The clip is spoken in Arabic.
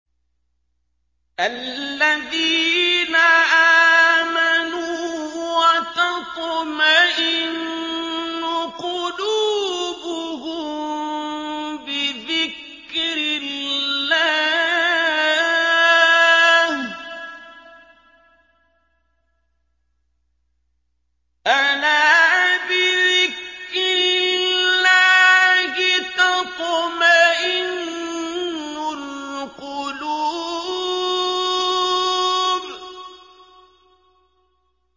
الَّذِينَ آمَنُوا وَتَطْمَئِنُّ قُلُوبُهُم بِذِكْرِ اللَّهِ ۗ أَلَا بِذِكْرِ اللَّهِ تَطْمَئِنُّ الْقُلُوبُ